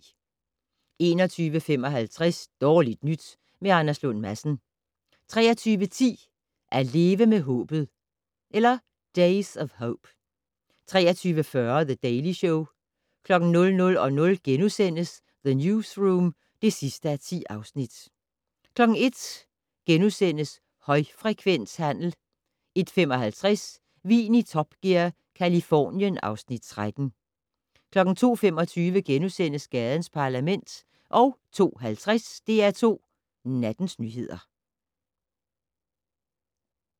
21:55: Dårligt nyt med Anders Lund Madsen 23:10: At leve med håbet/Days of hope 23:40: The Daily Show 00:00: The Newsroom (10:10)* 01:00: Højfrekvenshandel * 01:55: Vin i Top Gear - Californien (Afs. 13) 02:25: Gadens Parlament * 02:50: DR2 Nattens nyheder